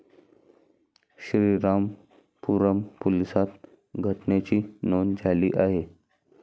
श्रीरामपूरम पोलिसांत घटनेची नोंद झाली आहे.